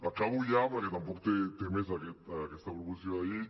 acabo ja perquè tampoc té més aquesta proposició de llei